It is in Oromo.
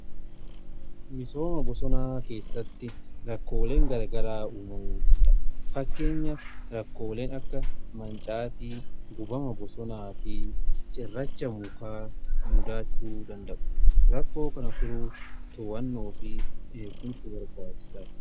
misooma bosonaa keessatti rakkooleen garagaraa uumamuu danda'a. fakkeenyaf rakkooleen akka mancaatii, gubama bosonaa fi cirracha mukaa mudachuu danda'u. rakkoo kana furuuf to'annoo fi eegumsi barbaachisaadha.